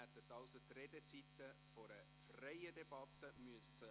Ihnen stünden also die Redezeiten einer freien Debatte zu.